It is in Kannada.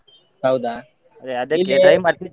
ಹೌದಾ.